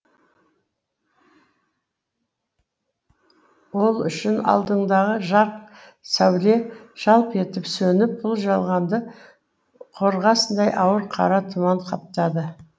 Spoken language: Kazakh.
ол үшін алдындағы жарық сәуле жалп етіп сөніп бұл жалғанды қорғасындай ауыр қара тұман қаптады